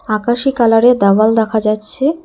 আকাশী কালারের দেওয়াল দেখা যাচ্ছে।